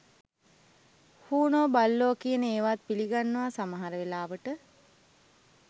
හූනෝ බල්ලෝ කියන ඒවත් පිළිගන්නවා සමහර වෙලාවට